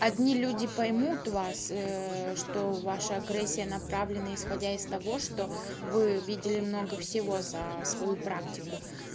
одни люди поймут вас что ваша агрессия направленна исходя из того что вы видели много всего за свою практику